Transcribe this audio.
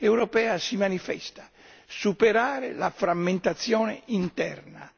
europea si manifesta superare la frammentazione interna.